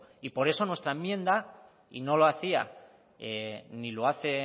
y por eso nuestra enmienda y no lo hacía ni lo hace